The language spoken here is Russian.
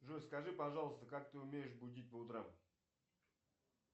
джой скажи пожалуйста как ты умеешь будить по утрам